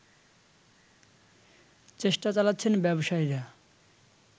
চেষ্টা চালাচ্ছেন ব্যবসায়ীরা